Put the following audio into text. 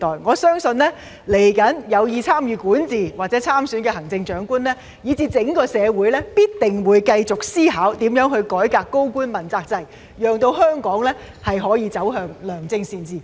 我相信未來有意參與管治或參選行政長官的人才，以至整個社會，必定會繼續思考如何改革高官問責制，讓香港可以實現良政善治。